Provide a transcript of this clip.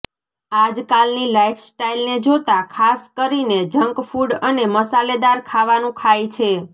આજકાલની લાઇફસ્ટાઇલને જોતા ખાસ કરીને જંક ફૂ઼ડ અને મસાલે દાર ખાવાનું ખાય છે